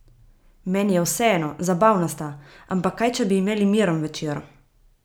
Meni je vseeno, zabavna sta, ampak kaj če bi imeli miren večer?